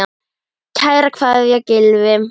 Kær kveðja, Gylfi.